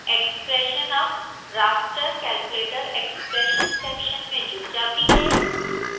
expression अब raster calculator expression section में जुड़ जाती है